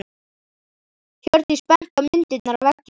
Hjördís benti á myndirnar á veggjunum.